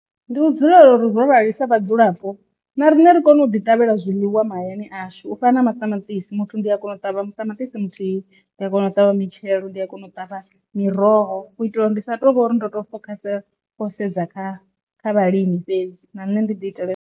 Ndi u dzulela uri ro rali sa vhadzulapo, na riṋe ri kone u ḓi ṱavhela zwiḽiwa mahayani ashu u fana na maṱamaṱisi muthu ndi a kona u ṱavha maṱamaṱisi muthu ndi a kona u ṱavha mitshelo, ndi a kona u ṱavha miroho, u itela uri ndi sa tu ngori ndo to fokhasa kho sedza kha kha vhalimi fhedzi na nṋe ndi ḓi itele.